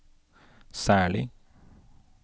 særlig